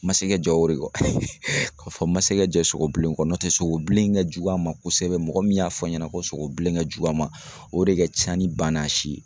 N ma se ka jɛn o de kɔ ka fɔ n ma se ka jɛn sogobilen kɔ n'o tɛ sogobilen ka jugu a ma kosɛbɛ mɔgɔ min y'a fɔ n ɲɛna ko sogobilen ka jugu a ma o de ka ca ni banna si ye